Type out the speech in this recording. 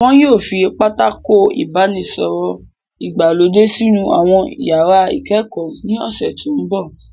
Wọn yóò fi Pátákó ìbánisọ̀rọ̀ ìgbàlódé sínú àwọn iyàrá ìkẹ́kọ̀ọ́ ní ọ̀sẹ̀ tó mbọ̀